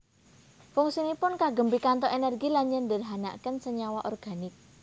Fungsinipun kagem pikantuk energi lan nyederhanaken senyawa organik